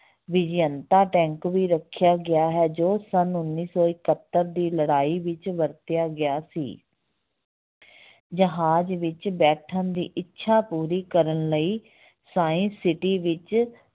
Vijayanta tank ਵੀ ਰੱਖਿਆ ਗਿਆ ਹੈ ਜੋ ਸੰਨ ਉੱਨੀ ਸੌ ਇਕਹੱਤਰ ਦੀ ਲੜਾਈ ਵਿੱਚ ਵਰਤਿਆ ਗਿਆ ਸੀ ਜਹਾਜ ਵਿੱਚ ਬੈਠਣ ਦੀ ਇੱਛਾ ਪੂਰੀ ਕਰਨ ਲਈ science city ਵਿੱਚ